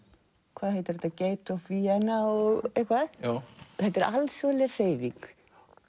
hvað heitir þetta Gates of Vienna og eitthvað þetta er alþjóðleg hreyfing